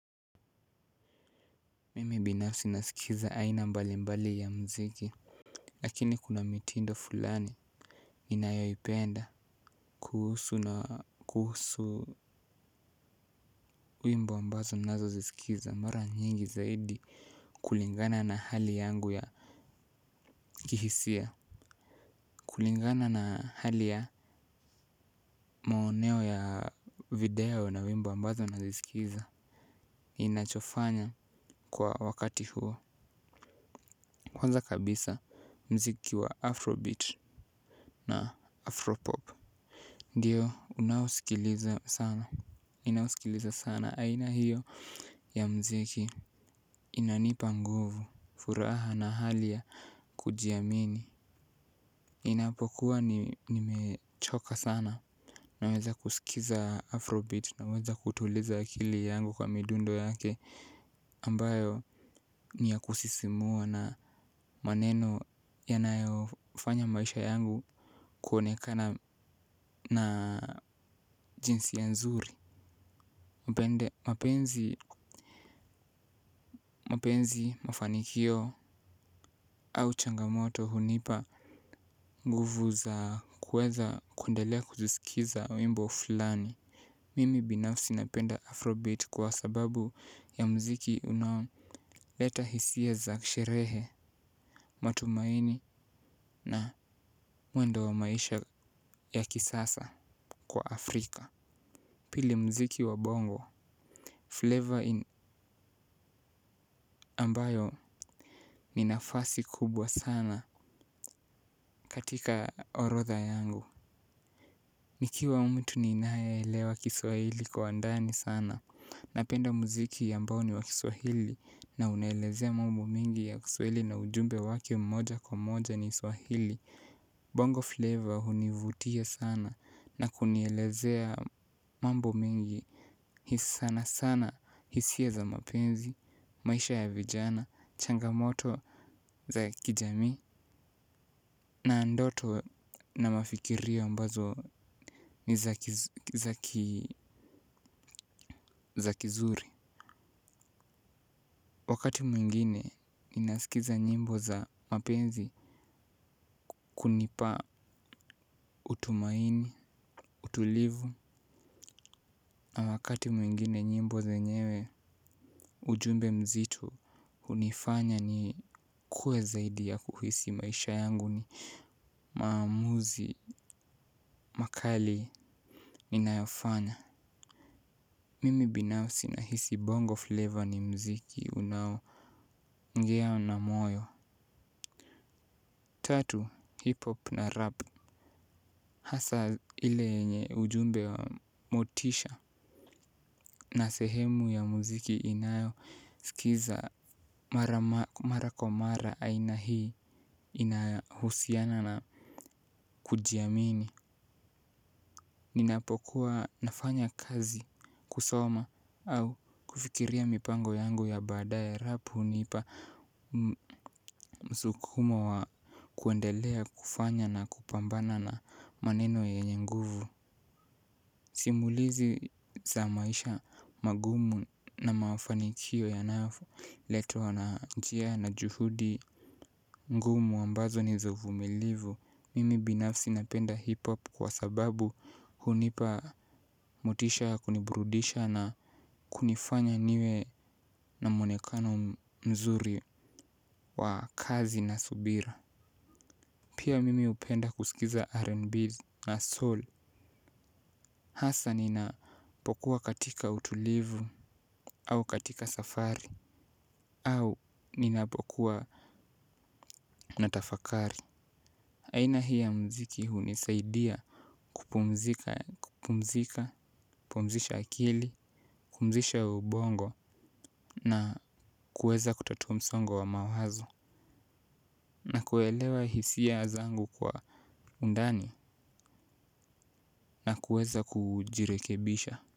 Mimi binafsi naskiza aina mbalimbali ya muziki. Lakini kuna mitindo fulani ninayoipenda kuhusu na kuhusu wimbo ambazo nazo zisikiza mara nyingi zaidi kulingana na hali yangu ya kihisia. Kulingana na hali ya maoneo ya video na wimbo ambazo nazisikiza. Inachofanya kwa wakati huo. Kwanza kabisa mziki wa Afrobeat na Afropop. Ndiyo, unausikiliza sana, ninausikiliza sana, aina hiyo ya mziki. Inanipa nguvu, furaha na hali ya kujiamini ninapokuwa nimechoka sana. Naweza kusikiza afrobeat, naweza kutuliza akili yangu kwa midundo yake ambayo ni ya kusisimua na maneno yanayofanya maisha yangu kuonekana na jinsia nzuri mpende mapenzi mapenzi mafanikio au changamoto hunipa. Nguvu za kueza kundelea kuzisikiza wimbo fulani. Mimi binafsi napenda afrobeat kwa sababu ya mziki unao leta hisia za ksherehe matumaini na mwendo wa maisha wa kisasa kwa Afrika. Pili mziki wa bongo Flavor ambayo ni nafasi kubwa sana. Katika orotha yangu nikiwa mtu ninae elewa kiswahili kwa ndani sana. Napenda muziki ambao ni wa kiswahili na unaelezea mambo mingi ya kiswahili na ujumbe wake mmoja kwa moja in swahili Bongo flavor hunivutia sana na kunielezea mambo mingi. Hisi sana sana hisia za mapenzi maisha ya vijana changamoto za kijamii na ndoto na mafikirio ambazo ni za kizuri. Wakati mwingine nina sikiza nyimbo za mapenzi kunipa utumaini, utulivu. Na wakati mwingine nyimbo zenyewe ujumbe mzito. Unifanya nikue zaidi ya kuhisi maisha yangu ni maamuzi. Makali ninayofanya. Mimi binafsi nahisi bongo flavor ni mziki unaongea na moyo. Tatu, hip-hop na rap. Hasa ile yenye ujumbe wa motisha na sehemu ya mziki inayoskiza mara kwa mara aina inayohusiana na kujiamini. Ninapokuwa nafanya kazi kusoma au kufikiria mipango yangu ya badae rapu. Hunipa msukumo wa kuendelea kufanya na kupambana na maneno yenye nguvu. Simulizi za maisha magumu na maafanikio yanafu letwa na ijia na juhudi ngumu ambazo ni za uvumilivu. Mimi binafsi napenda hipop kwa sababu hunipa motisha kunibrudisha na kunifanya niwe na muonekano mzuri wa kazi na subira. Pia mimi upenda kusikiza R&B na soul. Hasa ninapokuwa katika utulivu au katika safari au ninapokuwa natafakari. Aina hi ya mziki hunisaidia kupumzika, kupumzika, pumzisha akili, kupumzisha ubongo na kueza kutatua musongo wa mawazo na kuelewa hisia zangu kwa undani na kueza kujirekebisha.